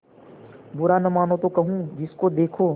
बुरा न मानों तो कहूँ जिसको देखो